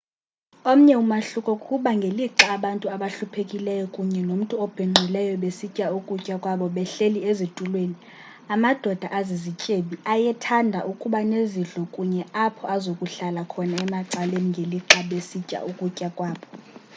omnye umahluko kukuba ngelixa abantu abahluphekileyo kunye nomntu obhinqileyo besitya ukutya kwabo behleli ezitulweni amadoda azizityebi ayethanda ukuba nezidlo kunye apho azokuhlala khona emacaleni ngelixa besitya ukutya kwabo